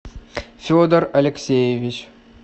федор алексеевич